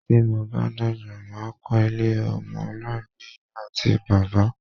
Tí mo bá dàgbà, mà á kọ́ ilé ọmọ aláìní-Ìyá àti bàbá.